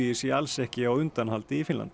sé alls ekki á undanhaldi í Finnlandi